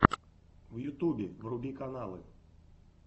в ютубе вруби каналы